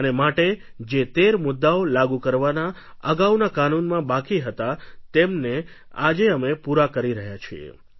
અને માટે જે તેર મુદ્દાઓ લાગુ કરવાના અગાઉના કાનૂનમાં બાકી હતા તેમને આજે અમે પૂરા કરી રહ્યા છીએ